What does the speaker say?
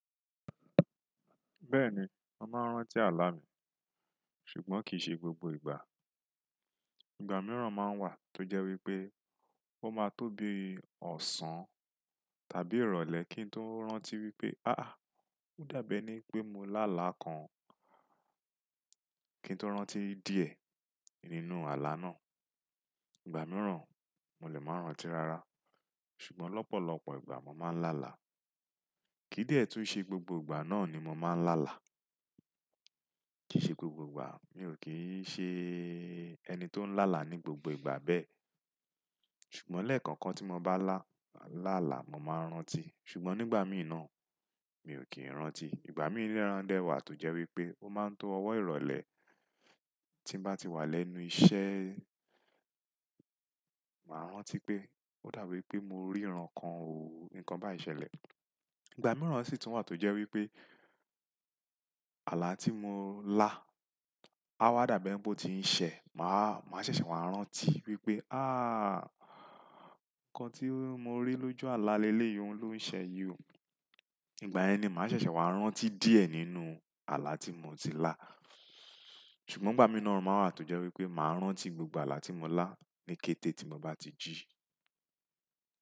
Bẹ́ẹ̀ni, mo màá rántí àlá mi, ṣùgbọ́n kì í ṣe gbogbo ìgbà. Ìgbà mìíràn máa ń wà tó jẹ́ wípé ó máa tó bí ọ̀sán tàbí ìrọ̀lẹ́ kí n tó rántí wípé, "áàh, ó dàbí ẹni pé mo lá àlá kan." Kí n tó rántí díẹ̀ nínú àlá náà. Ìgbà mìíràn, mo lè máa rántí rara. Ṣùgbọ́n lọ́pọ̀lọpọ̀ ìgbà mo máa ń lá àlá. Kìdíẹ̀ tó ṣe gbogbo ìgbà náà ni mo máa ń lá àlá. Kì í ṣe gbogbo ìgbà, mi ò kí í ṣe ẹni tó ń lá àlá ní gbogbo ìgbà bẹ́ẹ̀. Ṣùgbọ́n lẹ́ẹ̀kan kan tí mo bá lá àlá, mo máa rántí. Ṣùgbọ́n nígbà mìíràn, mi ò kí ń rántí. Ìgbà mìíràn dẹ wà tó jẹ́ wípé ó máa ń tó ọwọ́ ìrọ̀lẹ́ tí bá ti wà lẹ́nu iṣẹ́, màá rántí pé ó dàbí pé mo rí iran kan òó, nǹkan bá ń ṣẹlẹ̀. Ìgbà mìíràn sì tún wà tó jẹ́ wípé àlá tí mo lá, á wá dàbí ẹni pé ó ti ń ṣẹ, màá ṣẹ̀ṣẹ̀ wá rántí wípé, "áàh, nǹkan tí mo rí lójú àlá lelé yìí ló ń ṣẹ yìí." Ìgbà yẹni, màá ṣẹ̀ṣẹ̀ wá rántí díẹ̀ nínú àlá tí mo ti lá. Ṣùgbọ́n ìgbà mìíràn máa wà tó jẹ́ wípé màá rántí gbogbo àlá tí mo lá ní kété tí mo bá ti jí i.